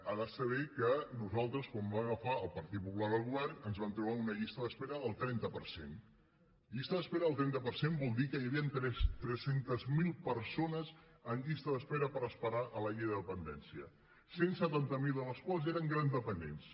ha de saber que nosaltres quan vam agafar el partit popular el govern ens vam trobar una llista d’espera del trenta per cent llista d’espera del trenta per cent vol dir que hi havien tres cents miler persones en llista d’espera per esperar la llei de dependència cent i setanta miler de les quals eren grans dependents